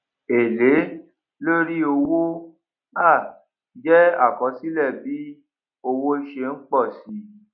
èlé lórí owó um jé àkọsílè bí owó ṣé n pòsi